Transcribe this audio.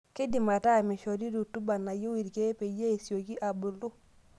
Keidim aata meishoru rutuba nayieu irkiek peyie esiokii abuluu.